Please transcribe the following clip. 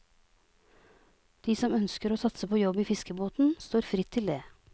De som ønsker å satse på jobb i fiskebåten, står fritt til det.